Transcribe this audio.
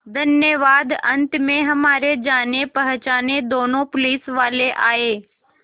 धन्यवाद अंत में हमारे जानेपहचाने दोनों पुलिसवाले आए